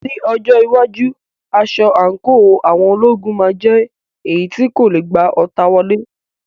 Ní ọjọ́ iwájú, aṣọ àǹkóò àwọn ológun máa jẹ́ èyí tí kò lè gba ọta wọlé.